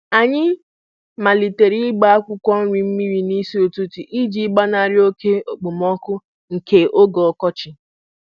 Anyị malitere ịgba akwụkwọ nri mmiri n'isi ụtụtụ iji gbanarị oke okpomọkụ nke oge ọkọchị.